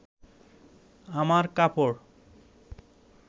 আমার কাপড়